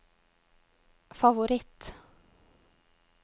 favoritt